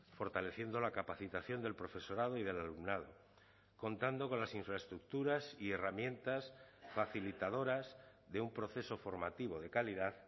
fortaleciendo la capacitación del profesorado y del alumnado contando con las infraestructuras y herramientas facilitadoras de un proceso formativo de calidad